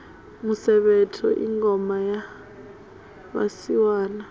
musevhetho i ngoma ya vhasiwana